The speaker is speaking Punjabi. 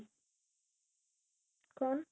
ਕੋਣ